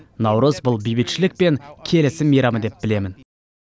наурыз бұл бейбітшілік пен келісім мейрамы деп білемін